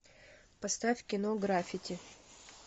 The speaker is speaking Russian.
поставь кино граффити